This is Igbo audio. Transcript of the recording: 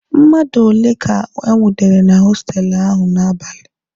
Mmadụ ole ka e nwudere na hostelụ ahụ n'abalị?